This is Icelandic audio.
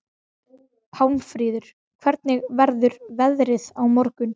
Pálmfríður, hvernig verður veðrið á morgun?